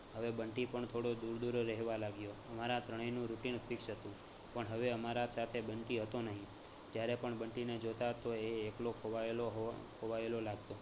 હવે બંટી પણ થોડો દૂર દૂર રેહવા લાગ્યો. અમારા ત્રણેયનું routine fix હતું. પણ હવે અમારા સાથે બંટી હતો નહીં જ્યારે પણ બંટીને જોતા તો એ એકલો ખોવાયેલો હોય ખોવાયેલો લાગતો